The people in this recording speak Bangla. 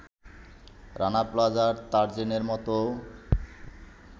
রানা প্লাজা, তাজরিনের মতো